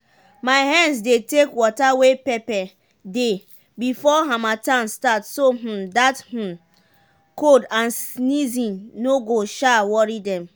my hens dey take water wey pepper dey before harmattan start so um dat um cold and sneezing no go um worry dem.